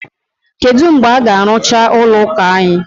Kedu mgbe a ga-arụcha ụlọ ụka anyị?